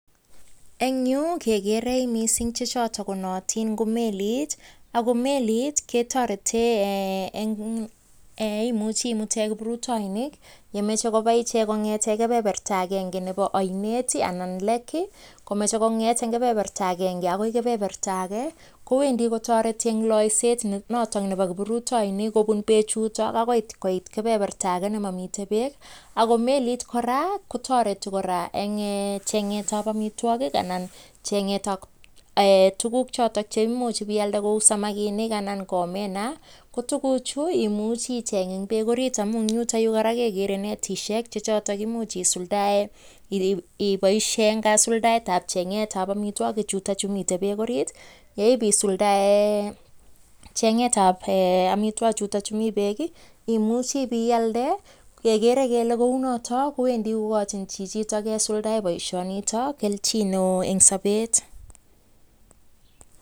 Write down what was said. Eng yu, kegeere mising chechoto ko naatin ko melit ako melit ketoretei ee imuchi imute kiprutoinik yemeche koba ichek kongete kebeberta agenge nebo ainet anan lake komeche kong'et eng kebeberta agenge akoi kobeberta ake kowendi kotoreti eng loiset nenoto nebo kiprutoinik kobun beechu akoi koit kebeberta ake nemamitei beek ako melit kora kotareti kora eng chengetab amitwokik anan eng chengetab ee tuguk choto chemuch pialde kou samakinik anan ko omena, ko tuguchu imuchi icheng eng beek ariit amun eng yutokyu kora kegeere kele mitei netisiek chechoto komuch isuldae ipoishe eng kasuldaetab chengetab amitwoki chutokchu mitei beek ariit, ye ipiisuldae chengetab amitwokik chutok mi beek imuch ipialde, kegeere kele kounito kowendi kokochin chichito kesuldae boisionitok kelchin neo eng sobet.